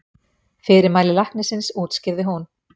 Fyrirmæli læknisins útskýrði hún.